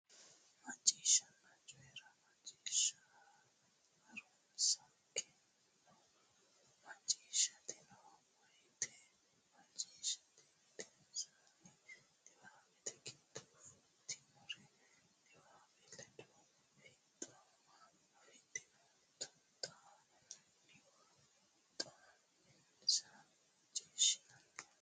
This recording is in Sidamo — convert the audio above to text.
Macciishshanna Coyi ra Macciishsha Ha runsi keeno macciishshitanno woytenna macciishshite gedensaanni niwaawete giddonni filtinorenna niwaawete ledo fiixooma afidhino xa muwa xa minsa Macciishshanna.